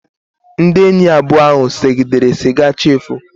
Ndị enyi abụọ ahụ segidere siga chi efoo